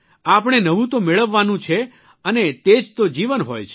આપણે નવું તો મેળવવાનું છે અને તે જ તો જીવન હોય છે